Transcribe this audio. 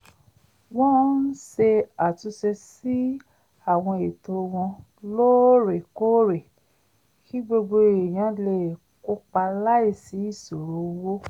wọ́n ń ṣe àtúnṣe sí àwọn ètò wọn lóòrèkóòrè kí gbogbo èèyàn lè kópa láìsí ìṣòro owó